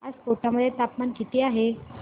आज कोटा मध्ये तापमान किती आहे